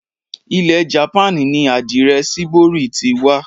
Ilẹ̀ japan ni àdirẹ shibori ti wa.